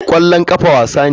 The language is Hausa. Kwallon kafa wasa ne.